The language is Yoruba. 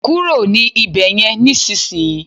kúrò ní Ibeyin nisinsinyi